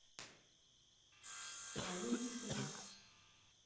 новинки кино